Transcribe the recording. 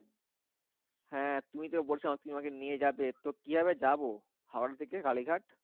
হ্যাঁ তুমি তো বলছো তুমি আমাকে নিয়ে যাবে। তো কিভাবে যাবো হাওড়া থেকে কালীঘাট?